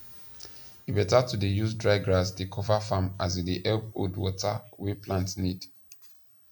e beta to dey use dry grass dey cover farm as e dey help hold water wey plant need